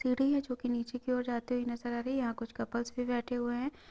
CD हैं जोकि निचे की ओर जाती हुई नजर आ रही है यहाँ कुछ कपल्स भी बैठे हुए हैं।